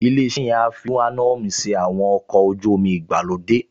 Ilé-iṣẹ́ yẹn á fi ùráníọ́ọ̀mù ṣe àwọn ọkọ̀ ojú-omi ìgbàlódé